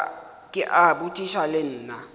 ke a botšiša le nna